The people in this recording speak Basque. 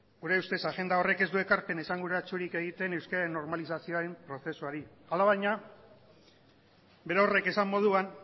gure ustez agenda horrek ez du ekarpen esanguratsurik egiten euskararen normalizazioaren prozesuari alabaina berorrek esan moduan